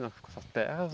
Com essas terras?